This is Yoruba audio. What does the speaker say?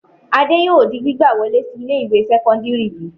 Adé yóò di gbígbà wọlé sí ilé-ìwé sẹ́kọ́ndárì yìí.